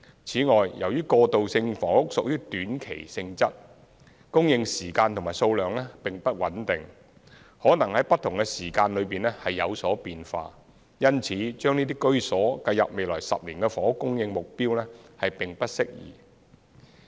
此外，由於過渡性房屋屬於短期性質，供應時間及數量並不穩定，可能在不同時間內有所變化，因此把這些居所計入在未來10年的房屋供應目標並不適宜。